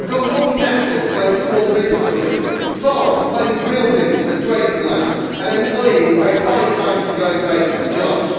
We have got multinationals claiming small business relief, farms claiming buildings as grazing land, and employees paid five times the going rate for jobs.